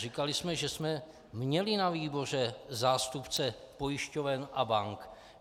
Říkali jsme, že jsme měli na výboru zástupce pojišťoven a bank.